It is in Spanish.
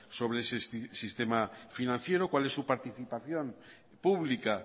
sobre sistema financiero cuál es su participación pública